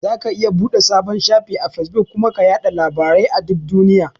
Zaka iya buɗe sabon shafi a Fesbuk kuma ka yaɗa labarai a duk duniya.